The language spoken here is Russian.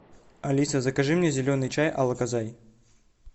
алиса закажи мне зеленый чай алокозай